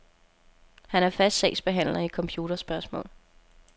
Han er fast sagsbehandler i computerspørgsmål.